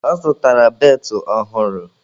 Ọ zụtara beltụ ọhụrụ